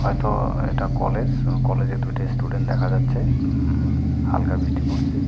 হয়তো এটা কলেজ কলেজে দুইটা স্টুডেন্ট দেখা যাচ্ছে উমম হালকা বৃষ্টি পড়ছে.